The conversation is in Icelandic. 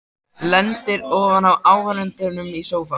Lendir ofan á áhorfendum í sófa.